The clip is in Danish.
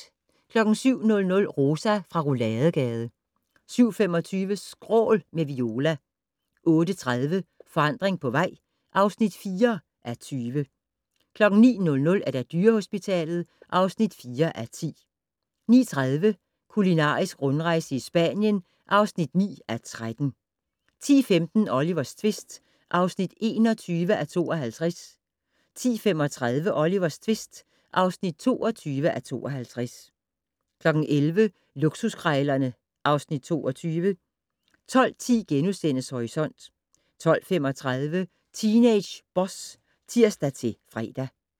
07:00: Rosa fra Rouladegade 07:25: Skrål - med Viola 08:30: Forandring på vej (4:20) 09:00: Dyrehospitalet (4:10) 09:30: Kulinarisk rundrejse i Spanien (9:13) 10:15: Olivers tvist (21:52) 10:35: Olivers tvist (22:52) 11:00: Luksuskrejlerne (Afs. 22) 12:10: Horisont * 12:35: Teenage Boss (tir-fre)